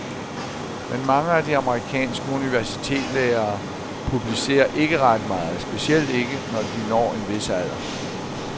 Men mange af de amerikanske universitetslærere publicerer ikke ret meget, specielt ikke, når de når en vis alder.